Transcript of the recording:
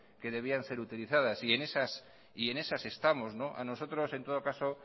que debían ser utilizadas y en esas estamos a nosotros en todo caso